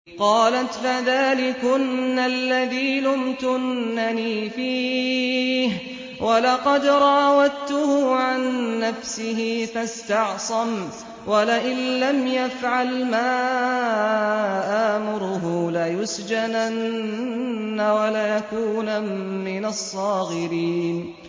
قَالَتْ فَذَٰلِكُنَّ الَّذِي لُمْتُنَّنِي فِيهِ ۖ وَلَقَدْ رَاوَدتُّهُ عَن نَّفْسِهِ فَاسْتَعْصَمَ ۖ وَلَئِن لَّمْ يَفْعَلْ مَا آمُرُهُ لَيُسْجَنَنَّ وَلَيَكُونًا مِّنَ الصَّاغِرِينَ